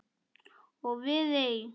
Og við eig